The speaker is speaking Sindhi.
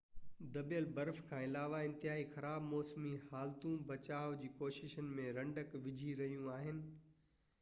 دٻيل برف کان علاوه انتهائي خراب موسمي حالتون بچاءُ جي ڪوششن ۾ رنڊڪ وجهي رهيون آهن